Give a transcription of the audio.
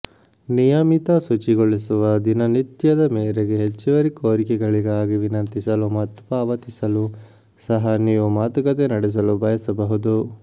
ನಿಯಮಿತ ಶುಚಿಗೊಳಿಸುವ ದಿನನಿತ್ಯದ ಮೇರೆಗೆ ಹೆಚ್ಚುವರಿ ಕೋರಿಕೆಗಳಿಗಾಗಿ ವಿನಂತಿಸಲು ಮತ್ತು ಪಾವತಿಸಲು ಸಹ ನೀವು ಮಾತುಕತೆ ನಡೆಸಲು ಬಯಸಬಹುದು